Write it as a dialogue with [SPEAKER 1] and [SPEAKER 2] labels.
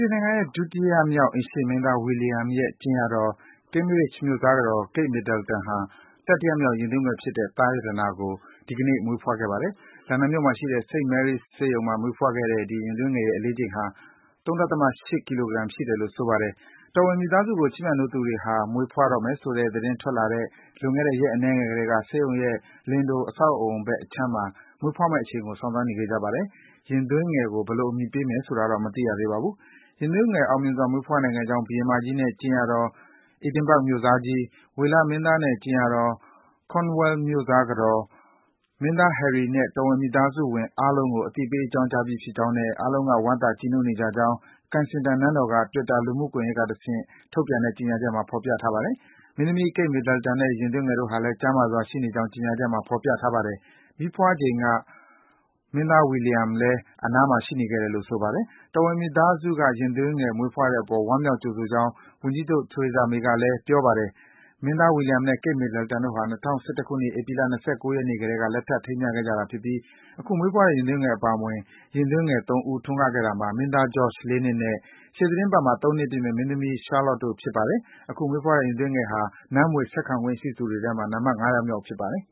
[SPEAKER 1] င်ငံရဲ့ ဒုတိယမြောက် အိမ်ရှေ့မင်းသား William ရဲ့ ကြင်ယာတော် Cambridge မြို့စားကတော် Kate Middleton ဟာ တတိယမြောက် ရင်သွေးငယ်ဖြစ်တဲ့ သားရတနာကို မွေးဖွားခဲ့ပါတယ်။ လန်ဒန်မြို့မှာရှိတဲ့ St. Mary’s ဆေးရုံမှာ မွေးဖွားခဲ့တဲ့ ဒီ ရင်သွေးငယ်ရဲ့ အလေးချိန်ဟာ ၃.၈ ကီလိုဂရမ် ရှိတယ်လို့ ဆိုပါတယ်။ တော်ဝင်မိသားစုကို ချစ်မြတ်နိုးသူတွေဟာ မွေးဖွားတော့မယ်ဆိုတဲ့ သတင်းထွက်လာတဲ့ လွန်ခဲ့တဲ့ ရက်အနည်းငယ်ကတည်း ဆေးရုံရဲ့ Lindo အဆောက်အအုံဘက်အခြမ်းမှာ မွေးဖွားမယ့်အချိန်ကို စောင့်ဆိုင်းနေခဲ့ကြပါတယ်။ ရင်သွေးငယ်ကို ဘယ်လို အမည်ပေးမလဲဆိုတာတော့ မသိရသေးပါဘူး။ ရင်သွေးငယ် အောင်မြင်စွာ မွေးဖွားနိုင်ခဲ့ကြောင်း ဘုရင်မကြီးနဲ့ ကြင်ယာတော့ Edinburgh မြို့စားကြီး၊ ဝေလမင်းသားနဲ့ ကြင်ယာတော် Cornwall မြို့စားကတော်၊ မင်းသား Harry နဲ့ တော်ဝင် မိသားစုဝင် အားလုံးကို အသိပေး အကြောင်းကြားပြီးဖြစ်ကြောင်းနဲ့ အားလုံးက ဝမ်းသာ ကြည်နူးနေကြကြောင်း Kensington နန်းတော်က Twitter လူမှုကွန်ယက်ကတဆင့် ထုတ်ပြန်တဲ့ ကြေညာချက်မှာ ဖော်ပြ ထားပါတယ်။ မင်းသမီး Kate Middleton နဲ့ ရင်သွေးငယ်တို့ဟာလည်း ကျန်းမာစွာ ရှိနေကြောင်း ကြေညာချက်မှာ ဖော်ပြထားပါတယ်။ မီးဖွားချိန်က မင်းသား William လည်း အနားမှာ ရှိနေခဲ့တယ်လို့ ဆိုပါတယ်။ တော်ဝင်မိသားစုက ရင်သွေးငယ် မွေးဖွားတဲ့အပေါ် ဝမ်းမြောက် ကြိုဆိုကြောင်း ဝန်ကြီးချုပ် Theresa May ကလည်းပြောပါတယ်။ မင်းသား William နဲ့ Kate Middleton တို့ဟာ ၂၀၁၁ ခုနှစ်၊ ဧပြီလ ၂၉ ရက်နေ့ကတည်းက လက်ထပ် ထိမ်းမြားခဲ့ကြတာဖြစ်ပြီး အခု မွေးဖွားတဲ့ ရင်သွေးငယ် အပါအဝင် ရင်သွေး ၃ ဦး ထွန်းကားခဲ့တာမှာ မင်းသား George ၄ နှစ်၊ ရှေ့သီတင်းပတ်မှာ ၃ နှစ်ပြည့်မယ့် မင်းသမီး Charlotte တို့ ဖြစ်ကြပါတယ်။ အခုမွေးဖွားတဲ့ ရင်သွေးငယ်ဟာ နန်းမွေဆက်ခံခွင့်ရှိသူတွေထဲမှာ နံပတ် ၅ ယောက်မြောက် ဖြစ်ပါတယ်